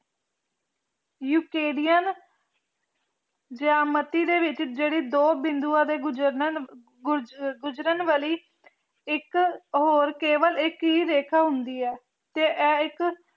ਯੁਕੇਰੀਅਨ ਜਮਾਤੀ ਦੇ ਵਿਚ ਜੇਰੀ ਦੋ ਬਿਦੁਵਾਂ ਦੇ ਗੁਜ਼ਾਰਨੀ ਨੂ ਗੁਜਰਨ ਵਾਲੀ ਇਕ ਹੋਰ ਕੇਵਲ ਇਕ ਏ ਰੀਖਾਂ ਹੁੰਦੀ ਆਯ ਤੇ ਆਯ ਏਇਕ